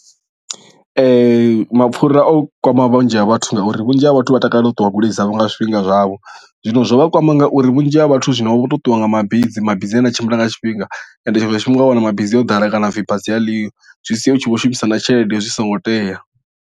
Ee mapfhura o kwama vhunzhi ha vhathu ngauri vhunzhi ha vhathu vha takalela u ṱuwa goloi dzavho nga zwifhinga zwavho zwino zwo vha kwama ngauri vhunzhi ha vhathu zwino vha vho to ṱuwa nga mabisi mabizi anea a tshimbila nga tshifhinga ende tshiṅwe tshifhinga wa wana mabisi o ḓala kana hapfhi basi aliho zwi sia u tshi vho shumisana tshelede zwi songo tea.